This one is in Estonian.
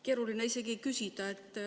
Keeruline isegi küsida.